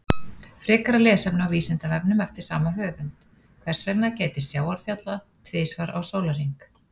Frekara lesefni á Vísindavefnum eftir sama höfund: Hvers vegna gætir sjávarfalla tvisvar á sólarhring?